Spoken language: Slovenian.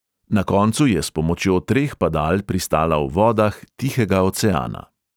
Na koncu je s pomočjo treh padal pristala v vodah tihega oceana.